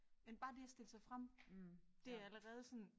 Men bare det at stille sig frem det allerede sådan